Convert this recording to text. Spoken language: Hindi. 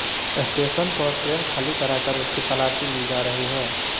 स्टेशन पर ट्रेन खाली कराकर उसकी तलाशी ली जा रही है